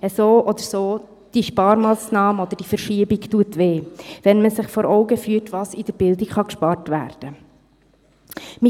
So oder so, die Sparmassnahme oder die Verschiebung schmerzt, wenn man sich vor Augen führt, was in der Bildung gespart werden kann.